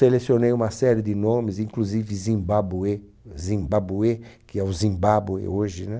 Selecionei uma série de nomes, inclusive Zimbábue, Zimbábue, que é o Zimbábue hoje, né?